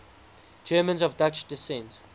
germans of dutch descent